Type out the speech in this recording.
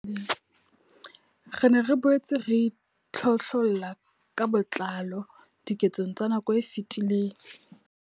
Re ne re boetse re itlhohlolla ka botlalo diketsong tsa nako e fetileng.